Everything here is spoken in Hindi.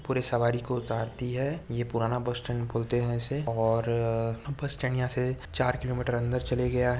पूरे सवारी को उतारती है ये पुराना बस स्टैंड बोलते है इसे औ र- र-र बस स्टैंड यहाँ से चार किलोमीटर अंदर चले गया हैं।